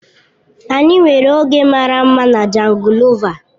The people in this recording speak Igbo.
Anyị nwere oge mara mma na jangolova.